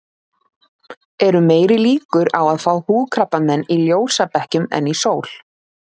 Eru meiri líkur á að fá húðkrabbamein í ljósabekkjum en í sól?